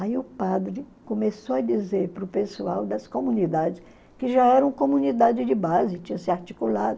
Aí o padre começou a dizer para o pessoal das comunidades, que já eram comunidade de base, tinha se articulado,